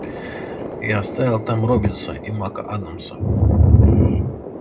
я оставил там роббинса и мак-адамса